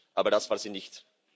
Aber das war sie nicht.